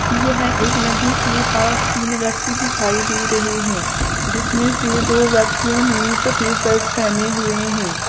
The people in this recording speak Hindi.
यह एक नदी के पास तीन व्यक्ति दिखाई दे रहे हैं जिसमें से दो व्यक्तियों ने सफेद शर्ट पहने हुए हैं।